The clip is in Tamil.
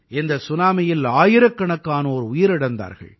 இந்த சுனாமியில் ஆயிரக்கணக்கானோர் உயிரிழந்தார்கள்